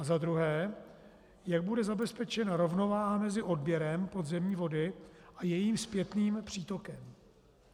A za druhé: Jak bude zabezpečena rovnováha mezi odběrem podzemní vody a jejím zpětným přítokem?